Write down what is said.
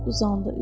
Uzandı.